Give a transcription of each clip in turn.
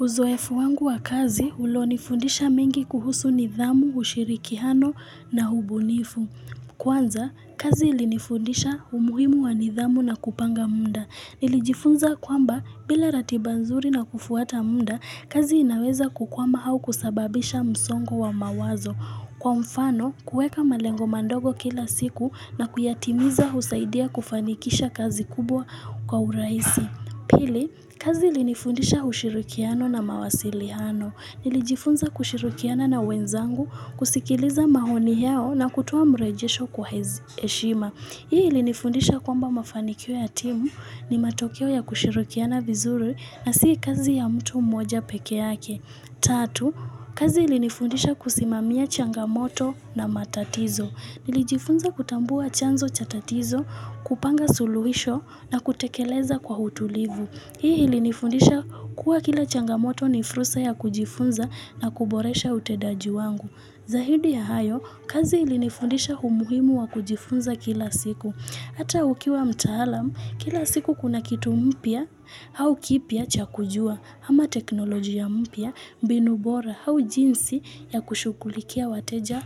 Uzoefu wangu wa kazi, ulonifundisha mengi kuhusu nidhamu, ushirikiano na ubunifu. Kwanza, kazi ilinifundisha umuhimu wa nidhamu na kupanga muda. Nilijifunza kwamba, bila ratiba nzuri na kufuata muda, kazi inaweza kukwama au kusababisha msongo wa mawazo. Kwa mfano, kueka malengo mandogo kila siku na kuyatimiza husaidia kufanikisha kazi kubwa kwa urahisi. Pili, kazi ilinifundisha ushirikiano na mawasiliano. Nilijifunza kushirikiana na wenzangu kusikiliza maoni yao na kutoa mrejesho kwa heshima. Hii ilinifundisha kwamba mafanikio ya timu ni matokeo ya kushirikiana vizuri na si kazi ya mtu mmoja peke yake. Tatu, kazi ilinifundisha kusimamia changamoto na matatizo. Nilijifunza kutambua chanzo cha tatizo, kupanga suluhisho na kutekeleza kwa utulivu. Hii ilinifundisha kuwa kila changamoto ni fursa ya kujifunza na kuboresha utendaji wangu. Zaidi ya hayo, kazi ilinifundisha umuhimu wa kujifunza kila siku. Hata ukiwa mtaalam, kila siku kuna kitu mpya au kipya cha kujua ama teknolojia mpya, mbinu bora au jinsi ya kushughulikia wateja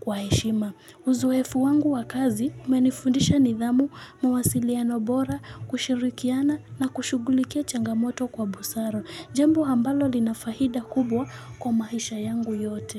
kwa heshima. Uzoefu wangu wa kazi imenifundisha nidhamu mawasiliano bora kushirikiana na kushughulikia changamoto kwa busara. Jambo ambalo linafaida kubwa kwa maisha yangu yote.